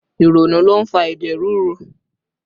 Ìrònú ló ń fa ẹ̀jẹ̀ ríru